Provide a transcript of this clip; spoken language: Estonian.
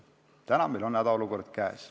Täna on meil hädaolukord käes.